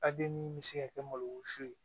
min bɛ se ka kɛ malosi ye